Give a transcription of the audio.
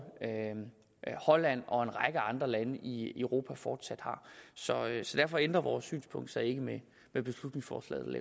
holland og en række andre lande i europa fortsat har så derfor ændrer vores synspunkt sig ikke med med beslutningsforslaget